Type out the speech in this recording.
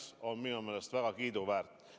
See on minu meelest väga kiiduväärt.